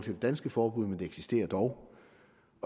det danske forbud men det eksisterer dog